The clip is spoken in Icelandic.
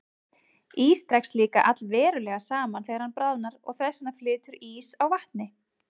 Ís dregst líka allverulega saman þegar hann bráðnar og þess vegna flýtur ís á vatni.